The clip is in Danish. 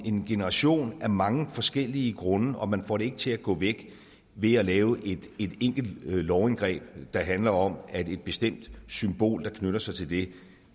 en generation af mange forskellige grunde og man får det ikke til at gå væk ved at lave et enkelt lovindgreb der handler om at et bestemt symbol der knytter sig til det